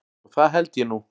Og það held ég nú.